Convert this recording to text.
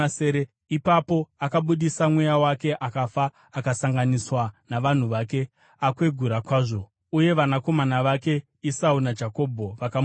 Ipapo akabudisa mweya wake akafa akasanganiswa navanhu vake, akwegura kwazvo. Uye vanakomana vake Esau naJakobho vakamuviga.